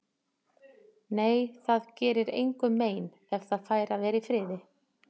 Nei, það gerir engum mein ef það fær að vera í friði.